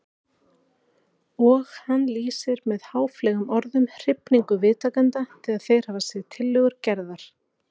Og hann lýsir með háfleygum orðum hrifningu viðtakenda þegar þeir hafa séð tillögur Gerðar.